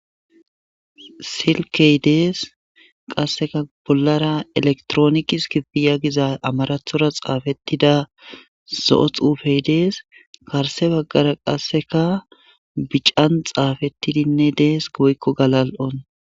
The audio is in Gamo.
silkey dees qasseka bollara elektroonikis kifiya giza amarathora xaafettida zo7o xuufey dees karse baggara qasseka bican xaafettidinne dees goykko galal7on